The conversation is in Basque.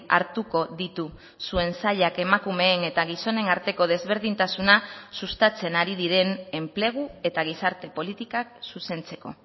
hartuko ditu zuen sailak emakumeen eta gizonen arteko desberdintasuna sustatzen ari diren enplegu eta gizarte politikak zuzentzeko